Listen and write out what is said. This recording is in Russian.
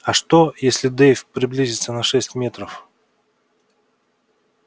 а что если дейв приблизится на шесть метров